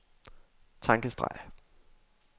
tankestreg